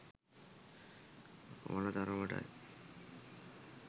වන තරමටයි?